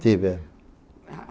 Tive.